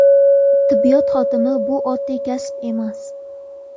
Tibbiyot xodimi bu oddiy kasb emas.